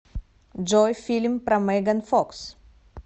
джой фильм про меган фокс